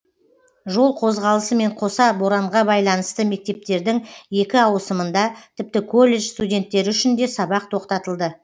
жол қозғалысымен қоса боранға байланысты мектептердің екі ауысымында тіпті колледж студенттері үшін де сабақ тоқтатылды